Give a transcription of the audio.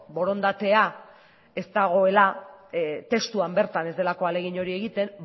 borondatea ez dagoela testuan bertan ez delako ahalegin hori egiten